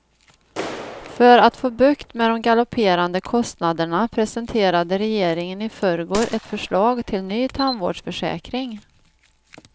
För att få bukt med de galopperande kostnaderna presenterade regeringen i förrgår ett förslag till ny tandvårdsförsäkring.